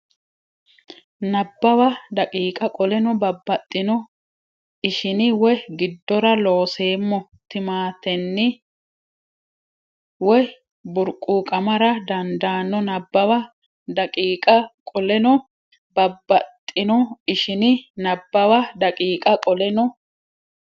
Nabbawa daqiiqa qoleno babbaxxino ishini way giddora Looseemmo timatenni way burquuqamara dandaanno Nabbawa daqiiqa qoleno babbaxxino ishini Nabbawa daqiiqa qoleno.